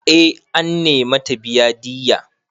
Eh an nemi ta biya diyya.